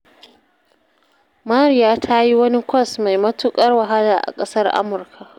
Mariya ta yi wani kwas mai matuƙar wahala a ƙasar Amurka